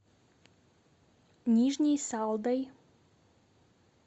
нижней салдой